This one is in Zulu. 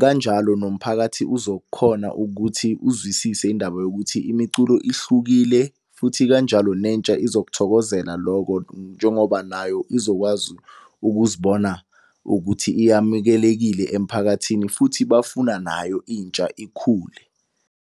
Kanjalo nomphakathi uzokhona ukuthi uzwisise indaba yokuthi imiculo ihlukile. Futhi kanjalo nentsha izokuthokozela loko njengoba nayo izokwazi ukuzibona ukuthi iyamukelekile emphakathini futhi bafuna nayo intsha ikhule.